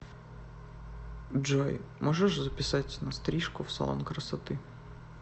джой можешь записать на стрижку в салон красоты